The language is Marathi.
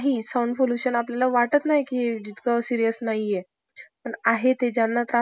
करीत आहे. कुटुरउद्योग आणि लघुउद्योग भारतासारख्या भरपूर लोकसंख्या असलेली श्रमविपूल अर्थव्यवस्थाने